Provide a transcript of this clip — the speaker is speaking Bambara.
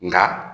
Nka